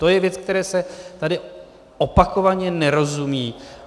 To je věc, které se tady opakovaně nerozumí.